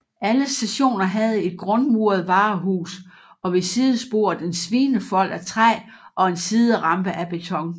Alle stationer havde et grundmuret varehus og ved sidesporet en svinefold af træ og en siderampe af beton